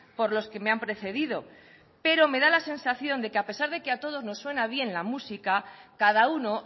por los que me han precedido pero me da la sensación de que a pesar de que a todos nos suena bien la música cada uno